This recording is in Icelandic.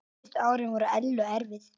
Síðustu árin voru Ellu erfið.